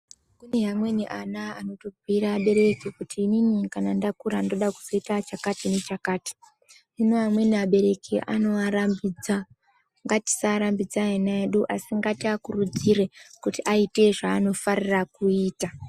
Amweni ana anobhuyira abereki kuti inini kana ndakura ndoda kuzoita chakati nechakati. Hino amweni abereki anoarambidza. Ngatisarambidza ana edu asi ngatiakurudzire kuti aite zvaanofarira kuita.